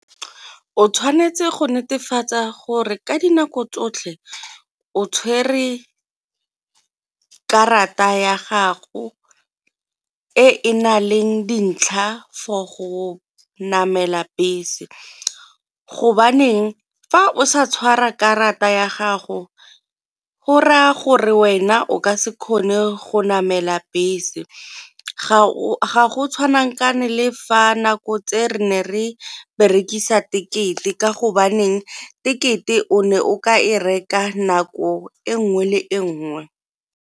O tshwanetse go netefatsa gore ka dinako tsotlhe o tshwere karata ya gago e e na leng dintlha for go namela bese, go baneng fa o sa tshwara karata ya gago go raya gore wena o ka se kgone go namela bese, ga go le fa nako tse re ne re berekisa tekete ka go baneng tekete o ne o ka e reka nako e nngwe le nngwe.